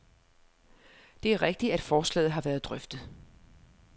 Det er rigtigt, at forslaget har været drøftet.